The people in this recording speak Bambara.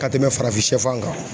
Ka tɛmɛn farafinsɛfan kan.